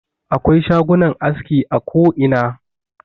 Akwai shagunan aski a koina.